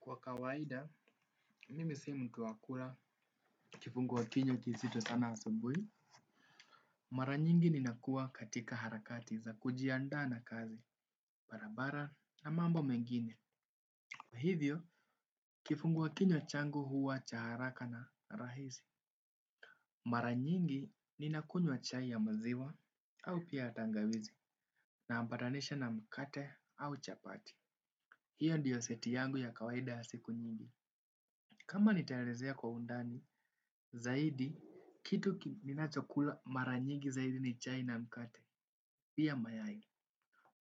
Kwa kawaida mimi si mtu wa kula kifunguwa kinywa kisito sana asubui. Mara nyingi ninakua katika harakati za kujianda na kazi, barabara na mambo mengine. Kwa hivyo kifunguwa kinywa changu huwa cha haraka na rahisi. Mara nyingi ninakunwa chai ya maziwa au pia ya tangawizi. Na ambadanisha na mkate au chapati. Hio ndiyo seti yangu ya kawaida ya siku nyingi. Kama nitaerezea kwa undani, zaidi, kitu nina chokula maranyigi zaidi ni chai na mkate, pia mayai.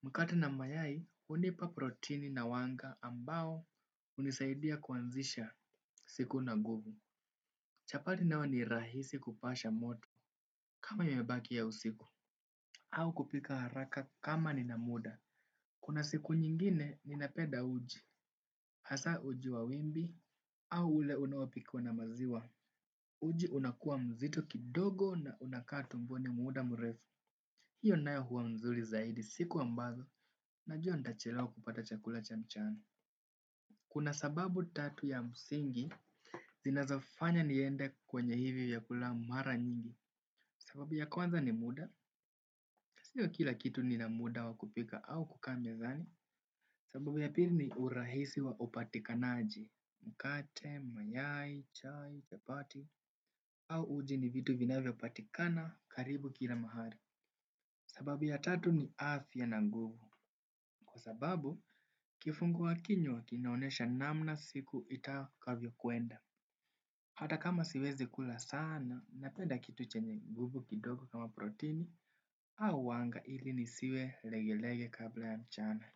Mkate na mayai, hunipa proteini na wanga ambao hunisaidia kuanzisha siku na nguvu. Chapati nayo ni rahisi kupasha moto kama imebaki ya usiku, au kupika haraka kama nina muda. Kuna siku nyingine, ninapenda uji, hasa uji wa wimbi, au ule unaopikwa na maziwa. Uji unakuwa mzito kidogo na unakaa tumboni muda mrefu. Hiyo nayo huwa mzuri zaidi siku ambazo najua nitachelewa kupata chakula cha mchana. Kuna sababu tatu ya msingi. Zinazofanya niende kwenye hivi vyakula mara nyingi. Sababu ya kwanza ni muda. Siyo kila kitu nina muda wa kupika au kukaa mezani. Sababu ya pili ni urahisi wa upatikanaji. Mkate, mayai, chai, chapati au uji ni vitu vinavyopatikana karibu kila mahali. Sababu ya tatu ni afya na nguvu. Kwa sababu, kifungua kinywa kinaonesha namna siku itakavyo kwenda. Hata kama siwezi kula sana napenda kitu chenye nguvu kama proteini au wanga ili nisiwe regerege kabla mchana.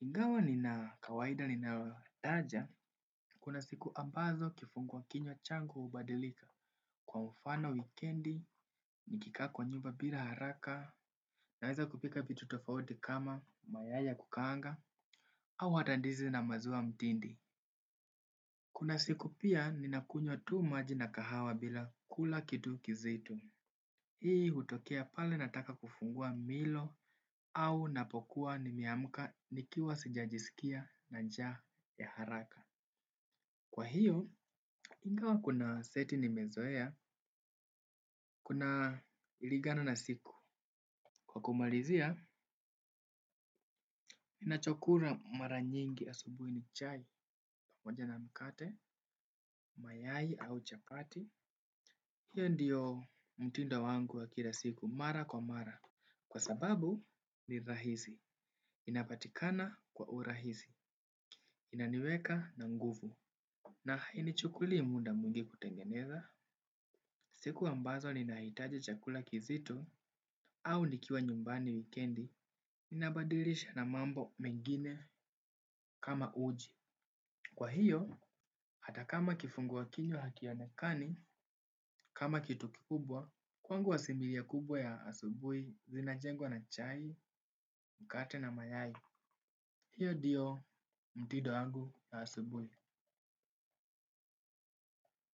Ingawa nina kawaida ninataja, kuna siku ambazo kifungua kinywa changu hubadilika. Kwa mfano wikendi, nikikaa kwa nyumba bila haraka, naweza kupika vitu tofauti kama mayai ya kukaanga, au hata ndizi na maziwa mtindi. Kuna siku pia, ninakunywa tu maji na kahawa bila kula kitu kizito. Hii hutokea pale nataka kufungua mlo, au napokuwa nimeamka, nikiwa sijajisikia na njaa ya haraka. Kwa hivyo, ingawa kuna seti nimezoea, kunalingana na siku. Kwa kumalizia, ninachokula mara nyingi asubuhi ni chai, pamoja na mkate, mayai au chapati. Hiyo ndiyo mtindo wangu wa kila siku, mara kwa mara. Kwa sababu, ni rahisi. Inapatikana kwa urahisi. Inaniweka na nguvu. Na hainichukuli muda mwingi kutengeneza. Siku ambazo ninahitaji chakula kizito au nikiwa nyumbani wikendi ninabadilisha na mambo mengine kama uji. Kwa hivyo, hata kama kifungua kinywa hakionekani, kama kitu kikubwa kwangu asimilia kubwa ya asubuhi zinajengwa na chai, mkate na mayai. Hiyo ndiyo mtindo yangu ya asubuhi.